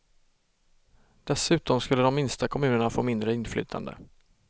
Dessutom skulle de minsta kommunerna få mindre inflytande.